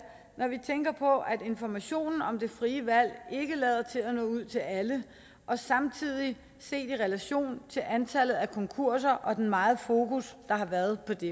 når vi tænker på at informationen om det frie valg ikke lader til at nå ud til alle og samtidig set i relation til antallet af konkurser og den megen fokus der har været på det